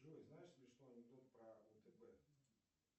джой знаешь смешной анекдот про втб